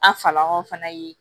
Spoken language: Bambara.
An falɔn fana ye